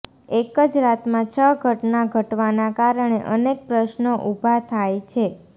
એકજ રાતમાં છ ઘટના ઘટવાના કારણે અનેક પ્રશ્રનો ઉભા થાય છે